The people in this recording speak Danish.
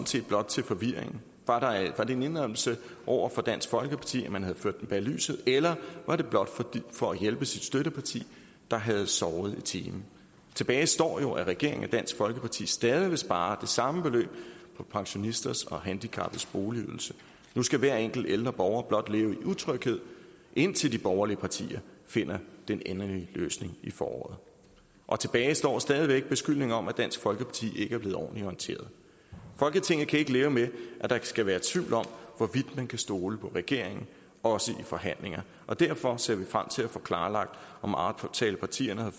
set blot til forvirringen var det en indrømmelse over for dansk folkeparti af at man havde ført dem bag lyset eller var det blot for at hjælpe sit støtteparti der havde sovet i timen tilbage står jo at regeringen og dansk folkeparti stadig vil spare det samme beløb på pensionisters og handicappedes boligydelse nu skal hver enkelt ældre borger blot leve i utryghed indtil de borgerlige partier finder den endelige løsning i foråret og tilbage står stadig væk beskyldningen om at dansk folkeparti ikke er blevet ordentligt orienteret folketinget kan ikke leve med at der skal være tvivl om hvorvidt man kan stole på regeringen også i forhandlinger og derfor ser vi frem til at få klarlagt om aftalepartierne havde